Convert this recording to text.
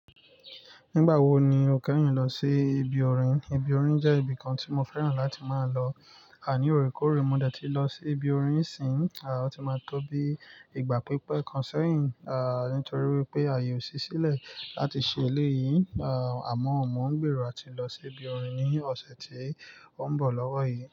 Nígbà wo ni o kẹ́yin lọ sí ibi orin? Ibi orin jẹ́ ibi kan tí mo fẹ́ràn láti máa lọ. Ni òrékoore mo dẹ̀ tí lọ sí ibi orin nísìń, ò tí máa tó bí ìgbà pípẹ́ kan sẹ́yìn, nítorí wípé ààyè ò sí sílẹ̀ láti ṣe eléyìí. Àmọ́, mò ń gbèrò láti lọ sí ibi orin ní ọ̀sẹ̀ tí ó ń bọ̀ lọ́wọ́ yìí.